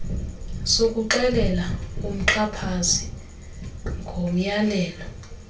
sokuxelela umxhaphazi ngomyalelo